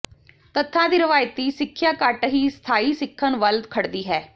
ਤੱਥਾਂ ਦੀ ਰਵਾਇਤੀ ਸਿੱਖਿਆ ਘੱਟ ਹੀ ਸਥਾਈ ਸਿੱਖਣ ਵੱਲ ਖੜਦੀ ਹੈ